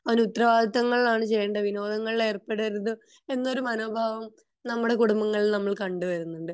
അവൻ ഉത്തരവാദിത്വങ്ങൾ ആൺ ചെയ്യണ്ടേ അവൻ വിനോദത്തിൽ ഏർപ്പെടെരുത് എന്നൊരു മനോഭാവം നമ്മുടെ കുടുംബങ്ങളിൽ നമ്മൾ കണ്ട വരുന്നുണ്ട്